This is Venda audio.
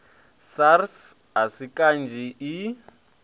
sars a si kanzhi i